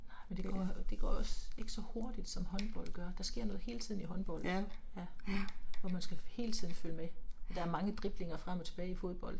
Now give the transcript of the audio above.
Nej men det går jo det går jo også ikke så hurtigt som håndbold gør, der sker noget hele tiden i håndbold, ja. Og man skal hele tiden følge med. Der er mange driblinger frem og tilbage i fodbold